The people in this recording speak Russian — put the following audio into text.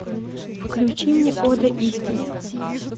включи мне ода истине